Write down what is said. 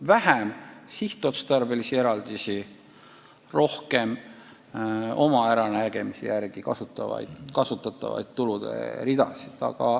Neil võiks rohkem olla oma äranägemise järgi kasutatavaid tuluridasid.